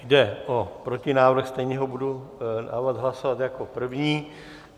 Jde o protinávrh, stejně ho budu dávat hlasovat jako první.